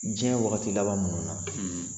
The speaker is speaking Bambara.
Diɲɛ wagati laban ninnu na